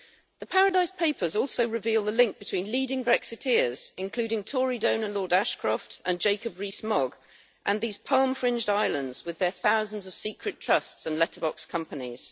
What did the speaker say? The Paradise Papers also reveal the link between leading Brexiteers, including Tory donor Lord Ashcroft and Jacob Rees Mogg, and these palm fringed islands with their thousands of secret trusts and letterbox companies.